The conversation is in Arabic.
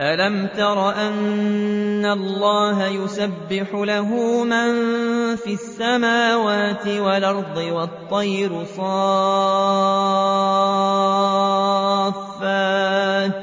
أَلَمْ تَرَ أَنَّ اللَّهَ يُسَبِّحُ لَهُ مَن فِي السَّمَاوَاتِ وَالْأَرْضِ وَالطَّيْرُ صَافَّاتٍ ۖ